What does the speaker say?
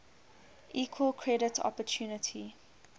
equal credit opportunity